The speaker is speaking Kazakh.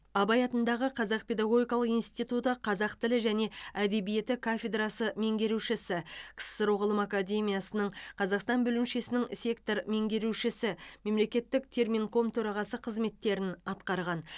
абай атындағы қазақ педагогикалық институты қазақ тілі және әдебиеті кафедрасы меңгерушісі ксро ғылым академиясының қазақстан бөлімшесінің сектор меңгерушісі мемлекеттік терминком төрағасы қызметтерін атқарған